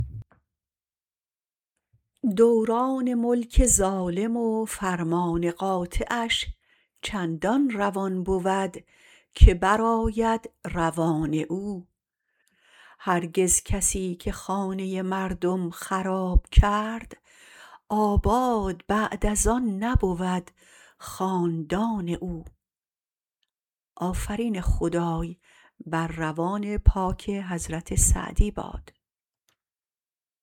دوران ملک ظالم و فرمان قاطعش چندان روان بود که برآید روان او هرگز کسی که خانه مردم خراب کرد آباد بعد از آن نبود خاندان او